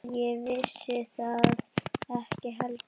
Ég vissi það ekki heldur.